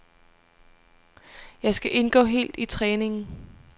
Jeg skal indgå helt i træningen.